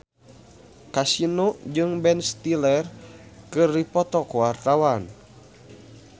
Kasino jeung Ben Stiller keur dipoto ku wartawan